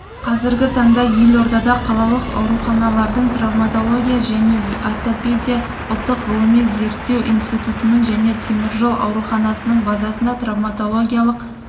қазіргі таңда елордада қалалық ауруханалардың травматология және ортопедия ұлттық ғылыми-зерттеу институтының және теміржол ауруханасының базасында травматологиялық